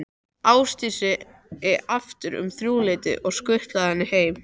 Ásdísi aftur um þrjúleytið og skutlað henni heim.